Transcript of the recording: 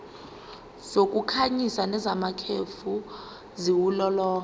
zokukhanyisa nezamakhefu ziwulolonga